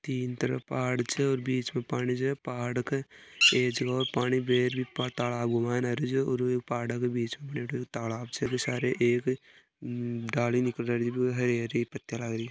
तिन तरफ पहाड़ छे और बिच में पानी छे पहाड़ के एक जो पानी घूम आरो छ और पहाड़ के बिच बनेडो तालाब छे बी के सारे डाली निकले है हरी पत्ती लागरी है।